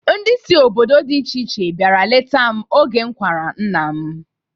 Ndị si ebe dị iche iche biara leta m oge m kwara nna m.